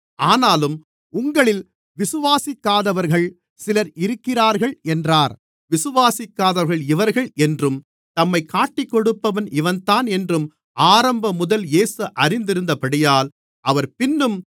ஆனாலும் உங்களில் விசுவாசிக்காதவர்கள் சிலர் இருக்கிறார்கள் என்றார் விசுவாசிக்காதவர்கள் இவர்கள் என்றும் தம்மைக் காட்டிக்கொடுப்பவன் இவன்தான் என்றும் ஆரம்பமுதல் இயேசு அறிந்திருந்தபடியால் அவர் பின்னும்